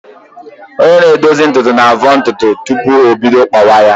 Onye na-edozi ntutu na-avọ ntutu tupu o bido kpawa ya